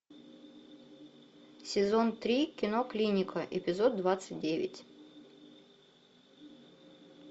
сезон три кино клиника эпизод двадцать девять